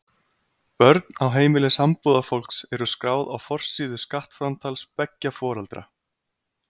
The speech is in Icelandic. Börn á heimili sambúðarfólks eru skráð á forsíðu skattframtals beggja foreldra.